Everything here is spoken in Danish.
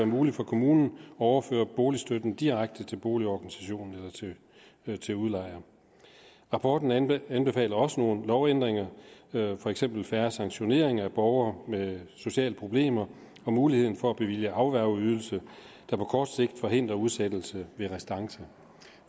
muligt for kommunen at overføre boligstøtten direkte til boligorganisationen eller til udlejer rapporten anbefaler også nogle lovændringer for eksempel færre sanktioneringer af borgere med sociale problemer og muligheden for at bevilge afværgeydelse der på kort sigt forhindrer udsættelse ved restance